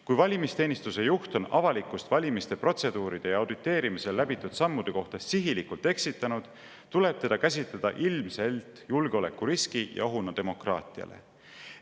Kui valimisteenistuse juht on avalikkust valimiste protseduuride ja auditeerimisel läbitud sammude kohta sihilikult eksitanud, tuleb teda käsitleda ilmselt julgeolekuriski ja ohuna demokraatiale.